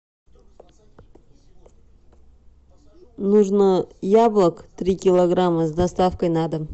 нужно яблок три килограмма с доставкой на дом